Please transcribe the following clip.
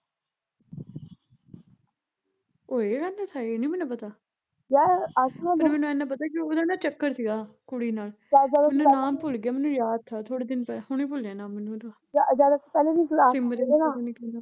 ਉਹ ਏਹ ਕਹਿੰਦਾ ਥਾ ਏਨਾਂ ਨੀ ਮੈਨੂੰ ਪਤਾ ਪਰ ਮੈਨੂੰ ਏਨਾ ਪਤਾ ਵੀ ਉਹਦਾ ਨਾ ਚੱਕਰ ਸੀਗਾ ਕੁੜੀ ਨਾਲ਼ ਮੈਨੂੰ ਨਾਲ਼ ਭੁੱਲਗਿਆ ਮੈਨੂੰ ਯਾਦ ਥਾ ਥੋੜੇ ਦਿਨ ਪਹਿ, ਹੁਣੇ ਭੁੱਲਿਆ ਮੈਨੂੰ ਨਾਮ ਉਹਦਾ ਸਿਮਰਨ ਪਤਾ ਨੀ ਕੀ ਨਾਮ ਉਹਦਾ